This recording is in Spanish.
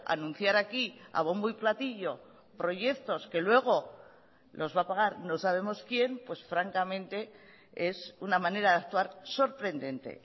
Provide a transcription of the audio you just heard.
anunciar aquí a bombo y platillo proyectos que luego los va a pagar no sabemos quién pues francamente es una manera de actuar sorprendente